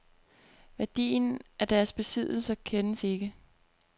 Værdien af deres besiddelser kendes ikke.